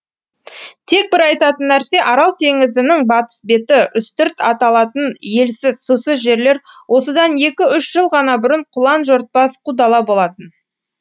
тек бір айтатын нәрсе арал теңізінің батыс беті үстірт аталатын елсіз сусыз жерлер осыдан екі үш жыл ғана бұрын құлан жортпас қу дала болатын